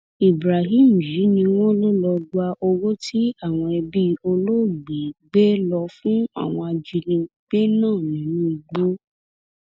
ibrahim yìí ni wọn lò lọọ gba owó tí àwọn ẹbí olóògbé gbé lọ fún àwọn ajínigbé náà nínú igbó